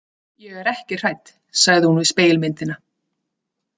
Ég er ekki hrædd, sagði hún við spegilmyndina.